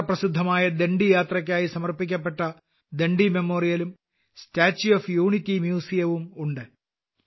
ചരിത്രപ്രസിദ്ധമായ ദണ്ഡിയാത്രയ്ക്കായി സമർപ്പിക്കപ്പെട്ട ദണ്ഡിമെമ്മോറിയലുംStatue ഓഫ് യൂണിറ്റി മ്യൂസിയം ഉം ഉണ്ട്